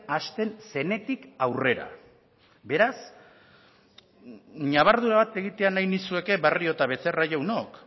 hasten zenetik aurrera beraz ñabardura bat egitea nahi nizueke barrio eta becerra jaunok